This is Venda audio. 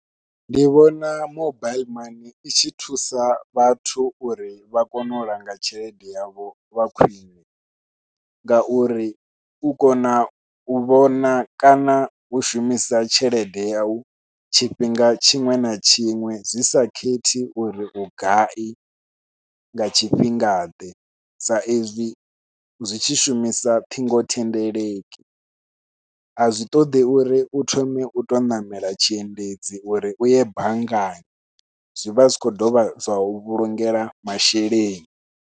Ndi vhona mobaiḽi i tshi thusa vhathu uri vha kone u langa tshelede yavho lwa khwiṋe ngauri u kona u vhona kana u shumisa tshelede yau tshifhinga tshiṅwe na tshiṅwe zwi sa khethi uri vhugai nga tshifhinga ḓe, sa izwi zwi tshi shumisa ṱhingothendeleki azwi ṱoḓi uri u thome u to ṋamela tshiendedzi uri u ye banngani, zwi vha zwi khou dovha zwa u vhulungela masheleni.